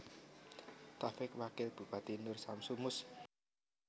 Taufik Wakil Bupati Nur Syamsu Mus